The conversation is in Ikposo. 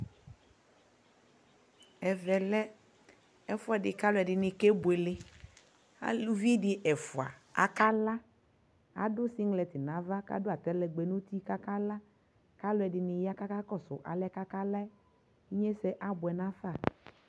Ɛvɛ lɛ ɛfuɛdi kʋ alʋɔdi ni kebuele Alʋvidi ɛfua akala Adʋ singlɛt nʋ ava kʋ atalɛgbɛ nʋ uti kakala kʋ alʋɔdi ni ya kakakɔsʋ alɛ kakala yɛ Inyese abuɛnafa